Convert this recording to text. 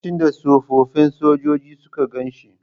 Lokacin da tsofaffin sojoji suka gan shi..